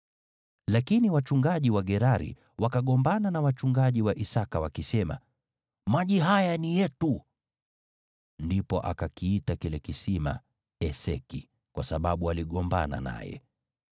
Lakini wachungaji wa Gerari wakagombana na wachungaji wa Isaki wakisema, “Maji haya ni yetu!” Ndipo akakiita kile kisima Eseki, kwa sababu waligombana naye.